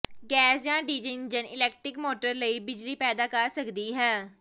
gas ਜਾਂ diesel engine electric motor ਲਈ ਬਿਜਲੀ ਪੈਦਾ ਕਰ ਸਕਦੀ ਹੈ